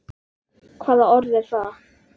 Hvaða orð er það?